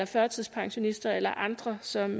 førtidspensionister eller andre som